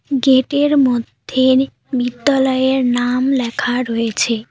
Gate -এর মধ্যে বিদ্যালয়ের নাম লেখা রয়েছে।